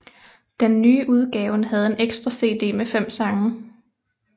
Den nye udgaven havde en ekstra cd med fem sange